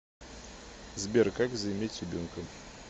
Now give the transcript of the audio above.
сбер как заиметь ребенка